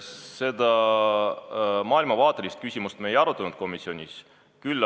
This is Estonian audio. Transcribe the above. Seda maailmavaate küsimust me komisjonis ei arutanud.